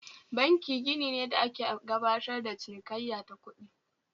Banki gini ne da ake gabatar da cinikayya ta kuɗi